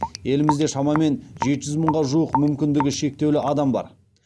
елімізде шамамен жеті жүз мыңға жуық мүмкіндігі шектеулі адам бар